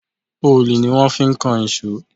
Òòlù ni wón fi kan ìṣọ́.